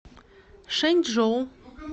шэнчжоу